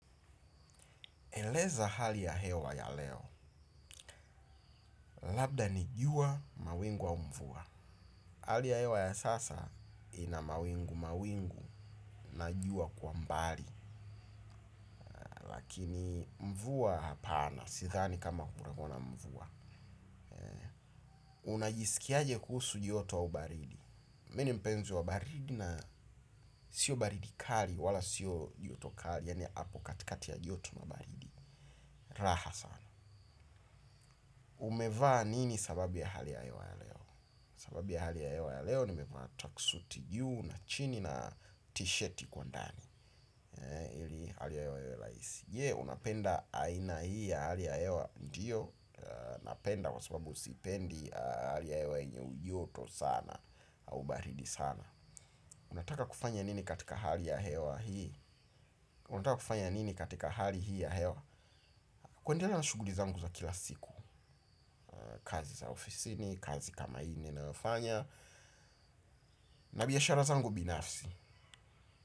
Eleza hali ya hewa ya leo. Labda ni jua mawingu au mvua. Hali ya hewa ya sasa ina mawingu mawingu na jua kwa mbali. Lakini mvua hapana, sidhani kama kutakuwa na mvua. Unajisikiaje kuhusu joto au baridi. Mimi ni mpenzi wa baridi na siyo baridi kali wala siyo joto kali. Yaani hapo katikati ya joto na baridi. Raha sana. Umevaa nini sababu ya hali ya hewa ya leo sababu ya hali ya hewa ya leo nimevaa track suti juu na chini na tishati kwa ndani ili hali ya hewa iwe rahisi je unapenda aina hii ya hali ya hewa ndiyo. Napenda kwa sababu sipendi hali ya hewa yenye ujoto sana au baridi sana unataka kufanya nini katika hali ya hewa hii unataka kufanya nini katika hali hii ya hewa kuendelea na shughuli zangu za kila siku. Kazi za ofisini, kazi kama hii ninayofanya na biashara zangu binafsi.